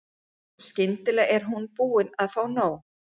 Og skyndilega er hún búin að fá nóg.